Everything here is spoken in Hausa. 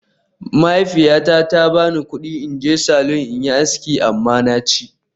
Mahaifiyata ta ba ni kudi in je salon in yi aski amma na ci